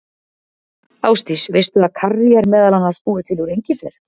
Ásdís, veistu að karrí er meðal annars búið til úr engifer?